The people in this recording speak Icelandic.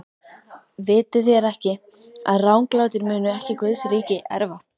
Vitið þér ekki, að ranglátir munu ekki Guðs ríki erfa?